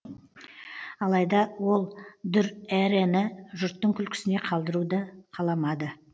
алайда ол дүрэрэні жұрттың күлкісіне қалдыруды қаламады